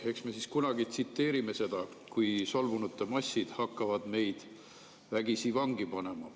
Eks me kunagi tsiteerime seda, kui solvunute massid hakkavad meid vägisi vangi panema.